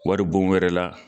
Wari bon wɛrɛ la